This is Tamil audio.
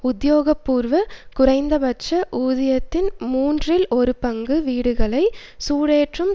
உத்தியோகபூர்வ குறைந்தபட்ச ஊதியத்தின் மூன்றில் ஒரு பங்கு வீடுகளை சூடேற்றும்